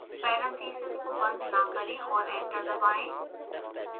parenthesis को बंद न करें और एंटर दबाएं